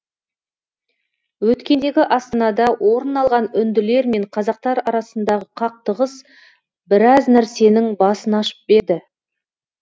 өткендегі астанада орын алған үнділер мен қазақтар арасындағы қақтығыс біраз нәрсенің басын ашып берді